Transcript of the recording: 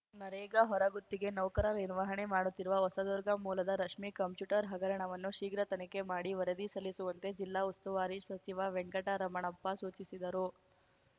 ನರೇಗ ಹೊರಗುತ್ತಿಗೆ ನೌಕರ ನಿರ್ವಹಣೆ ಮಾಡುತ್ತಿರುವ ಹೊಸದುರ್ಗ ಮೂಲದ ರಶ್ಮಿ ಕಂಪ್ಯೂಟರ್‌ ಹಗರಣವನ್ನು ಶೀಘ್ರ ತನಿಖೆ ಮಾಡಿ ವರದಿ ಸಲ್ಲಿಸುವಂತೆ ಜಿಲ್ಲಾ ಉಸ್ತುವಾರಿ ಸಚಿವ ವೆಂಕಟರಮಣಪ್ಪ ಸೂಚಿಸಿದರು